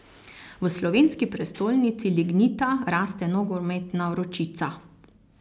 V slovenski prestolnici lignita raste nogometna vročica.